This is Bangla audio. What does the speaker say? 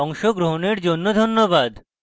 অংশগ্রহনের জন্য ধন্যবাদ